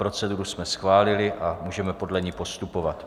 Proceduru jsme schválili a můžeme podle ní postupovat.